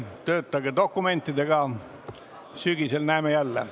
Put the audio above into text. Töötage dokumentidega, sügisel näeme jälle.